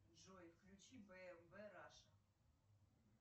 джой включи бмв раша